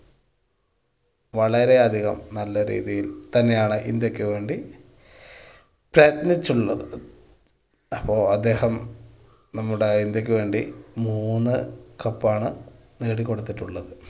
വളരെ അധികം നല്ല രീതിയിൽ തന്നെയാണ് ഇന്ത്യക്ക് വേണ്ടി അപ്പൊ അദ്ദേഹം നമ്മുടെ ഇന്ത്യക്ക് വേണ്ടി മൂന്ന് cup ണ് നേടി കൊടുത്തിട്ടുള്ളത്.